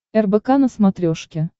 рбк на смотрешке